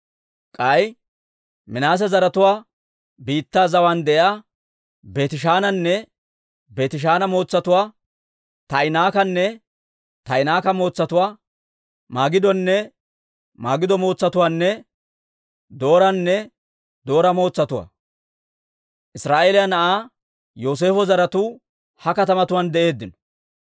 K'ay Minaase zaratuwaa biittaa zawaan de'iyaa Beetishaananne Beetishaana mootsatuwaa, Taa'inaakkanne Taa'inaaka mootsatuwaa, Magidonne Magido mootsatuwaanne Dooranne Doora mootsatuwaa. Israa'eeliyaa na'aa Yooseefo zaratuu ha katamatuwaan de'eeddino.